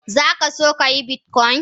Zakaso ka yi bitcoin?